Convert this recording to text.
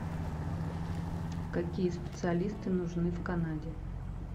какие специалисты нужны в канаде